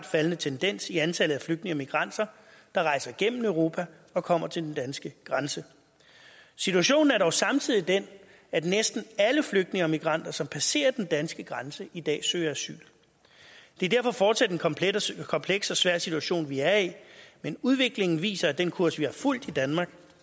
faldende tendens i antallet af flygtninge og migranter der rejser gennem europa og kommer til den danske grænse situationen er jo samtidig den at næsten alle flygtninge og migranter som passerer den danske grænse i dag søger asyl det er derfor fortsat en kompleks kompleks og svær situation vi er i men udviklingen viser at den kurs vi har fulgt i danmark